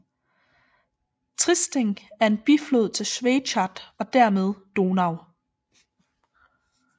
Triesting er en biflod til Schwechat og dermed Donau